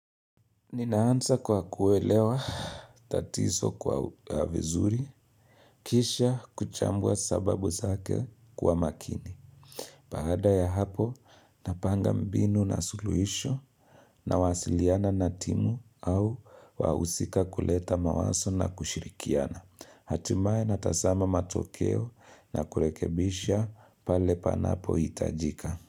Ninaanza kwa kuelewa tatizo kwa vizuri, kisha kuchambua sababu zake kwa makini. Baada ya hapo, napanga mbinu na suluhisho nawasiliana na timu au wausika kuleta mawazo na kushirikiana. Hatimaye natazama matokeo na kurekebisha pale panapo hitajika.